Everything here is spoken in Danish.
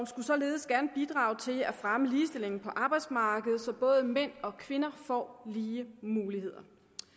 skulle således gerne bidrage til at fremme ligestillingen på arbejdsmarkedet så både mænd og kvinder får lige muligheder